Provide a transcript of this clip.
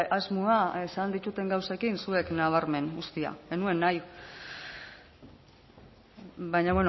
asmoa esan ditudan gauzekin zuek nabarmen uztea ez nuen nahi baina